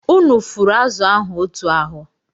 Unu fụrụ azụ̀ ahụ otú ahụ!